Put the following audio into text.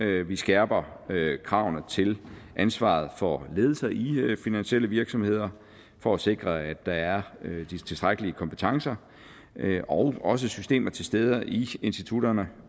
vi skærper kravene til ansvaret for ledelser i finansielle virksomheder for at sikre at der er de tilstrækkelige kompetencer og også systemer til stede i institutterne